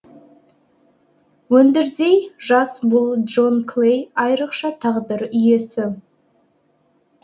өндірдей жас бүл джон клей айрықша тағдыр иесі